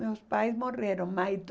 Meus pais morreram mas